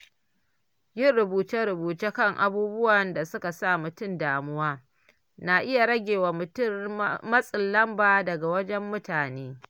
Yin rubuce-rubuce kan abubuwan da suka sa mutum damuwa na iya rage wa mutum matsin lamba daga wajen mutane.